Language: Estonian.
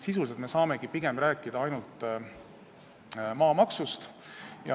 Sisuliselt saamegi me pigem rääkida ainult maamaksust.